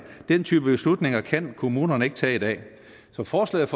den type beslutninger kan kommunerne ikke tage i dag så forslaget